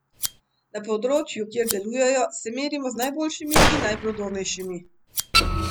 Na področju, kjer delujemo, se merimo z najboljšimi in najprodornejšimi.